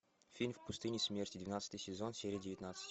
фильм в пустыне смерти двенадцатый сезон серия девятнадцать